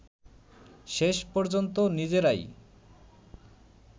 শেষ পর্যন্ত নিজেরাই